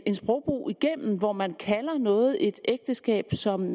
en sprogbrug igennem hvor man kalder noget et ægteskab som